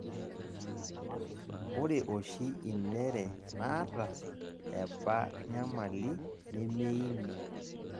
ore oshi inere naata eba nyamali nemeini.